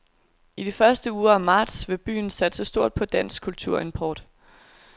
I de første uger af marts vil byen satse stort på dansk kulturimport.